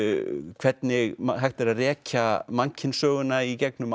hvernig hægt er að rekja mannkynssöguna í gegnum